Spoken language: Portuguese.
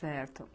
Certo.